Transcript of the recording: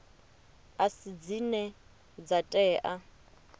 a si dzine dza tea